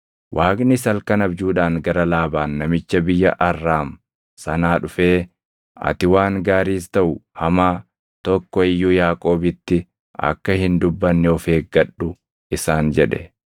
Waaqnis halkan abjuudhaan gara Laabaan namicha biyya Arraam sanaa dhufee, “Ati waan gaariis taʼu hamaa tokko iyyuu Yaaqoobitti akka hin dubbanne of eeggadhu” isaan jedhe.